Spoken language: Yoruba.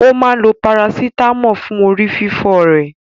Ó máa lo parasítámọ̀ fún orí fífọ́ rẹ̀.